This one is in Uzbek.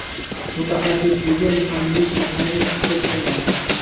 Mutaxassisligi muhandis-mexanik, huquqshunos.